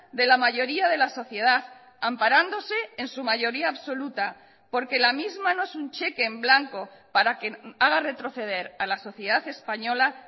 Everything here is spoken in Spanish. de la mayoría de la sociedad amparándose en su mayoría absoluta porque la misma no es un cheque en blanco para que haga retroceder a la sociedad española